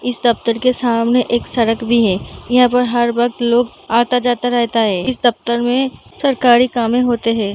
इस दफ्तर के सामने एक सड़क भी है यहाँ पर हर वक्त लोग आता-जाता रहता है इस दफ्तर में सरकारी कामें होते हैं।